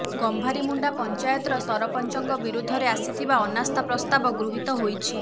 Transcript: ଗମ୍ଭାରୀମୁଣ୍ଡା ପଞ୍ଚାୟତର ସରପଞ୍ଚଙ୍କ ବିରୁଦ୍ଧରେ ଆସିଥିବା ଅନାସ୍ଥା ପ୍ରସ୍ତାବ ଗୃହୀତ ହୋଇଛି